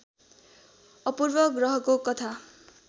अपूर्व ग्रहको कथा